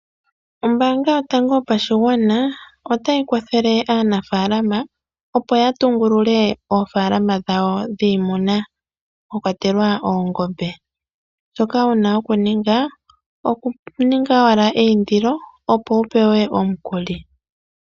Ombanga yotango yopashigwana otayi kwathele aanafalama opo ya tungulule oofalama dhawo dhiimuna mwakwatelwa oongombe. Shoka wuna oku ninga oku ninga owala eindiloopo wu pewe omukuli.